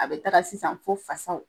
A be taga sisan fo fasaw